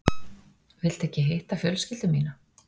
Viltu ekki hitta fjölskyldu mína?